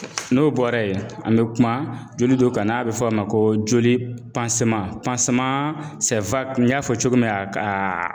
N'o bɔra yen an bɛ kuma joli dɔ kan n'a bɛ fɔ o ma ko joli n y'a fɔ cogo min aka ka